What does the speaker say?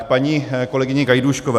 K paní kolegyni Gajdůškové.